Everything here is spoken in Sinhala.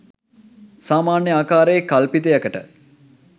සාමාන්‍ය ආකාරයේ කල්පිතයකට